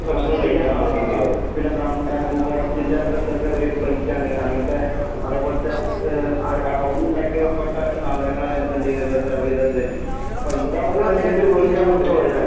ആ ആ പിന്നെ ബാം ബാമ്പൂ ഫോറെസ്റ്റിൻ്റെ ഇതൊക്കെ ഒരു പ്ലൈറ്റാണ് അങ്ങത്തെ അതെ പോലത്തെ ഏ അയ് അവിടുന്നുണ്ടാക്കിയപ്പെട്ട സാധനങ്ങളാണ് നമ്മക്കെന്തീത്ക്കണത് സെർവീതത് തര്ണെ അപ്പൊ ഇതാവുമ്പൊ